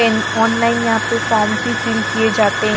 And online यहां पे form भी फिल किए जाते हैं।